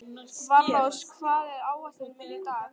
Valrós, hvað er á áætluninni minni í dag?